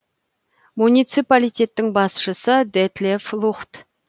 муниципалитеттің басшысы детлеф лухт